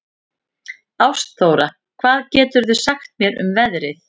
Ástþóra, hvað geturðu sagt mér um veðrið?